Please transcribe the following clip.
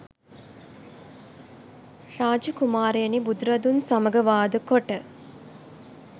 රාජ කුමාරයෙනි, බුදුරදුන් සමග වාදකොට